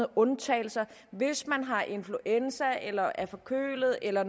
undtagelser hvis man har influenza eller er forkølet eller